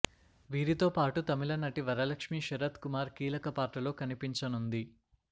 వీరితో పాటు తమిళ నటి వరలక్ష్మి శరత్ కుమార్ కీలక పాత్రలో కనిపించనుంది